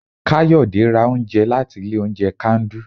kayode ra oúnjẹ latí ilé oúnjẹ kandu